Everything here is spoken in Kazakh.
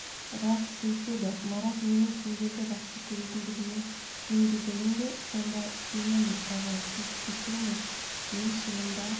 рас сөйтеді марат менің сендерді жақсы көретіндігіме сенбегенің бе сонда сенемін аға сіз кешіріңіз мен шынында